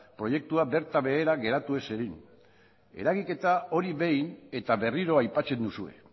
proiektua bertan behera geratu ez zedin eragiketa hori behin eta berriro aipatzen duzue